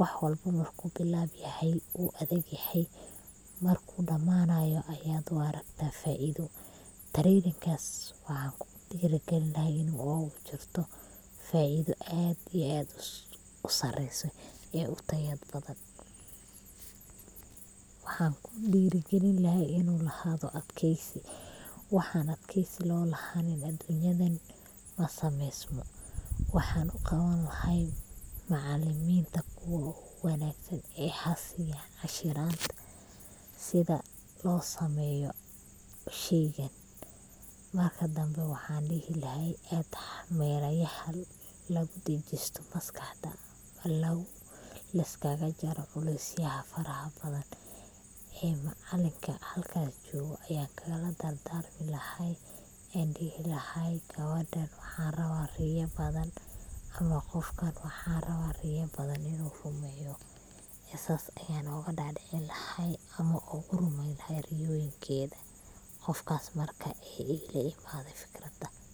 wax walbo marku bilab yahay wuu adag yahay, markuu dhamanayo ayad u aragta faido, treyninkas waxan kudhiiri gelin lahaa inay ogu jirto faido aad iyo aad usareyso ee utayad badan, waxaan kudhiiri gelin lahaa inu lahaado adkeysi, waxan adkeysi loo lahanin adunyadan masameysmo, waxan uqawani lahay macaaliminta kuwo ogu wanaagsan ee hasiyan cashiranta sida loo sameeyo sheygan, marka dambe waxan dhihi lahay ad melayahan lagudejisto maskaxda, liskaga jaaro culeys yaha faraha badan, ee macaalinka halka jogo ayan kagala dardarmi lahay an dhihi lahay gawadhan waxan rawaa riya badan ama qofkan waxan rawa riya badan inu rumeeyo iyo sas ayan oga dhaadhicini lahay ama ogu rumeyn lahay riyoyinkeeda qofkas marka ila imade fikrada